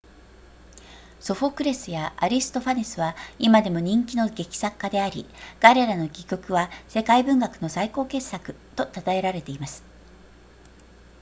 ソフォクレスやアリストファネスは今でも人気の劇作家であり彼らの戯曲は世界文学の最高傑作と称えられています